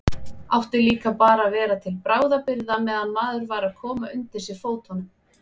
Átti líka bara að vera til bráðabirgða meðan maður var að koma undir sig fótunum.